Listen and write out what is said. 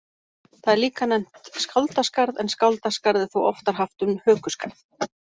Það er líka nefnt skáldaskarð en skáldaskarð er þó oftar haft um hökuskarð.